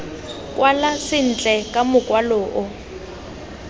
kwala sentle ka mokwalo o